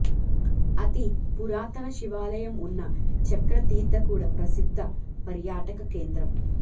అతి పురాతన శివాలయం వున్న చక్రతీర్థ కూడా ప్రసిద్ధ పర్యాటక కేంద్రం